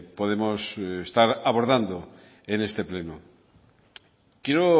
podemos estar abordando en este pleno quiero